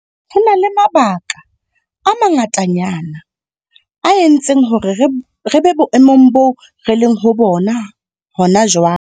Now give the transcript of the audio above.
Ho na le mabaka a manga tanyana a entseng hore re be boemong boo re leng ho bona hona jwale.